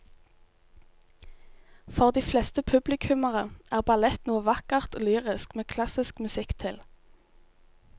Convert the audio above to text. For de fleste publikummere er ballett noe vakkert og lyrisk med klassisk musikk til.